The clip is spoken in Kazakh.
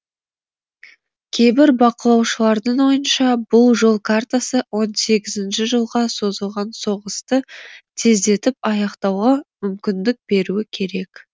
кейбір бақылаушылардың ойынша бұл жол картасы он сегізінші жылға созылған соғысты тездетіп аяқтауға мүмкіндік беруі керек